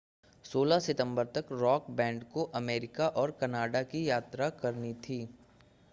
16 सितंबर तक rock band को अमेरिका और कनाडा की यात्रा करनी थी